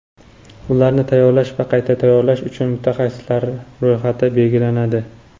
ularni tayyorlash va qayta tayyorlash uchun mutaxassisliklar ro‘yxati belgilanadi.